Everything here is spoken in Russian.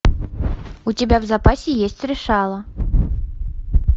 у тебя в запасе есть решала